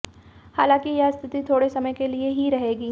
हालांकि यह स्थिति थोड़े समय के लिए ही रहेगी